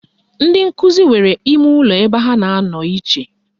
Ndị nkụzi nwere imeụlọ ebe ha na-anọ iche